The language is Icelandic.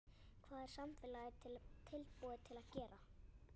Hvað er samfélagið tilbúið til að gera?